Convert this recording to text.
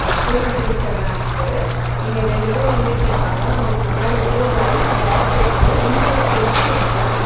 Cool drinks எல்லா இருக்கு இங்க ரெண்டு பேர் நின்னுட்டிருக்காங்க அவங்களுக்கு முன்னாடி வந்து ஒரு ஐஸ் பாக்ஸ் இருக்கு உள்ள ஒரு ஃபிரிட்ஜ் இருக்கு.